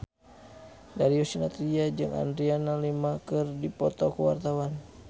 Darius Sinathrya jeung Adriana Lima keur dipoto ku wartawan